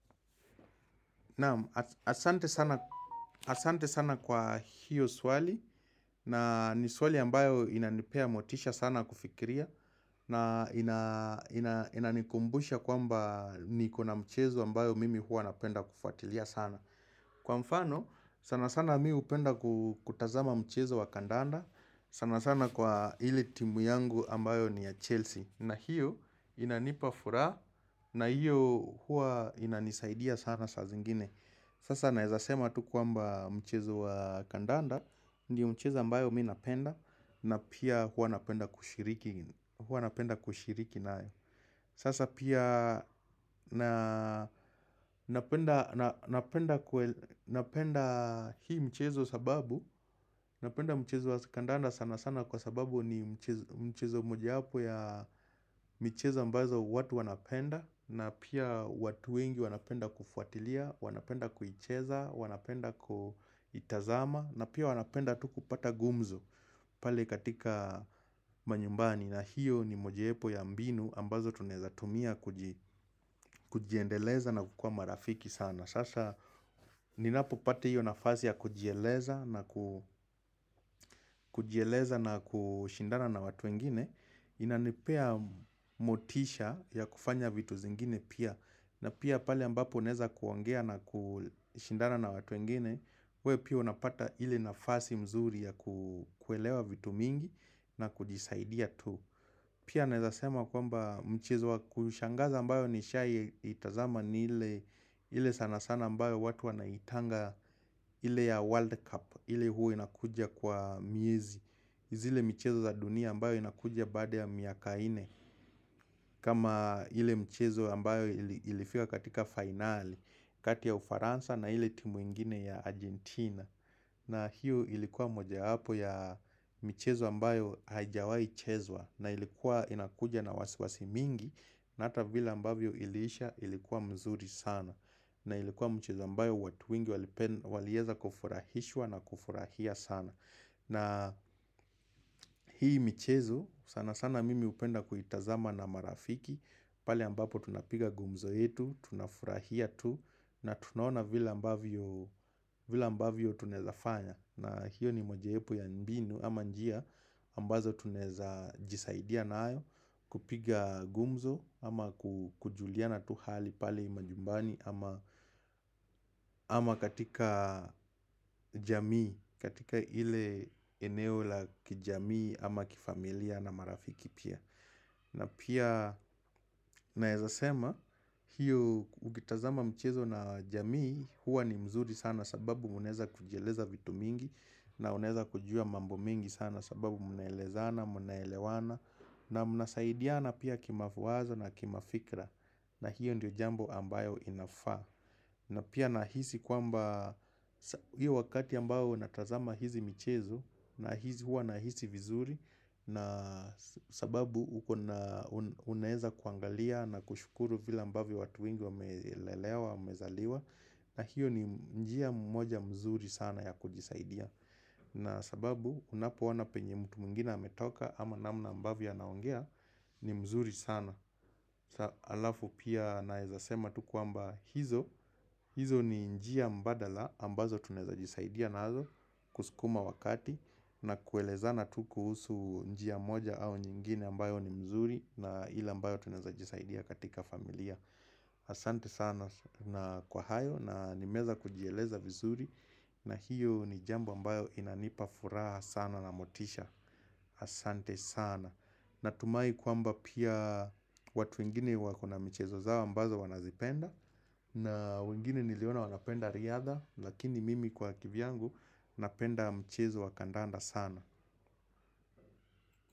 Asante sana kwa hiyo swali na ni swali ambayo inanipea motisha sana kufikiria na inanikumbusha kwamba nikona mchezo ambayo mimi huwa napenda kufuatilia sana. Kwa mfano sana sana mi hupenda kutazama mchezo wa kadanda. Sana sana kwa ile timu yangu ambayo ni ya Chelsea na hiyo inanipa furaha na hiyo huwa inanisaidia sana saa zingine Sasa naeza sema tu kwamba mchezo wa kadanda Ndio mchezo ambayo mi napenda na pia huwa napenda kushiriki huwa napenda kushiriki nayo Sasa pia napenda hii mchezo sababu Napenda mchezo wa kadanda sana sana kwa sababu ni mchezo mojawapo ya michezo ambazo watu wanapenda na pia watu wengi wanapenda kufuatilia. Wanapenda kuicheza, wanapenda kuitazama na pia wanapenda tu kupata gumzo pale katika manyumbani na hiyo ni mojawapo ya mbinu ambazo tunaweza tumia kujiendeleza na kukua marafiki sana. Sasa ninapopata hiyo nafasi ya kujieleza na kujieleza na kushindana na watu wengine Inanipea motisha ya kufanya vitu zingine pia na pia pale ambapo naeza kuongea na kushindana na watu wengine, we pia unapata ile nafasi mzuri ya kuelewa vitu mingi na kujisaidia tu Pia naeza sema kwamba mchezo wa kushangaza ambayo nishai itazama ni ile ile sana sana ambayo watu wanaitanga ile ya World Cup ile huwa inakuja kwa miezi. Zile michezo za dunia ambayo inakuja baada ya miaka nne kama ile mchezo ambayo ilifika katika finali kati ya ufaransa na ile timu ingine ya Argentina na hiyo ilikuwa mojawapo ya michezo ambayo haijawai chezwa. Na ilikuwa inakuja na wasiwasi mingi na ata vile ambavyo iliisha, ilikuwa mzuri sana. Na ilikuwa mchezo ambayo watu wengi walieza kufurahishwa na kufurahia sana na hii michezo sana sana mimi hupenda kuitazama na marafiki pale ambapo tunapiga gumzo yetu, tunafurahia tu na tunaona vile ambavyo vile ambavyo tunaezafanya na hiyo ni mojawepo ya mbinu ama njia ambazo tunaeza jisaidia nayo kupiga gumzo ama kujuliana tu hali pale manyumbani ama ama katika jamii, katika ile eneo la kijamii ama kifamilia na marafiki pia. Na pia naeza sema hiyo ukitazama mchezo na jamii, huwa ni mzuri sana sababu munaeza kujieleza vitu mingi na unaeza kujua mambo mingi sana sababu munaelezana munaelewana na muna saidiana pia kimawazo na kimafikra na hiyo ndio jambo ambayo inafaa. Na pia nahisi kwamba hiyo wakati ambao natazama hizi michezo na hizi hua nahisi vizuri na sababu ukona unaeza kuangalia na kushukuru vile ambavyo watu wengi wamelelewa wamezaliwa na hiyo ni njia moja mzuri sana ya kujisaidia. Na sababu unapoona penye mtu mwingine ametoka ama namna ambavyo anaongea ni mzuri sana. Halafu pia naezasema tu kwamba hizo, hizo ni njia mbadala ambazo tunaeza jisaidia nazo kusukuma wakati na kuelezana tu kuhusu njia moja au nyingine ambayo ni mzuri na ile ambayo tunaeza jisaidia katika familia Asante sana na kwa hayo na nimeza kujieleza vizuri na hiyo ni jambo ambayo inanipa furaha sana na motisha Asante sana. Natumai kwamba pia watu wengine wakona michezo zao ambazo wanazipenda na wengine niliona wanapenda riadha lakini mimi kwa kivyangu napenda mchezo wakadanda sana.